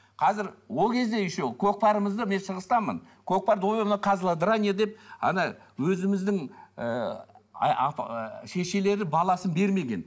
қазір ол кезде еще көкпарымызды мен шығыстанмын көкпар козлодрание деп ана өзіміздің ыыы шешелері баласын бермеген